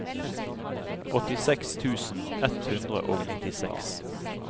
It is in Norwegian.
åttiseks tusen ett hundre og nittiseks